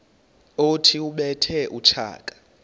othi ubethe utshaka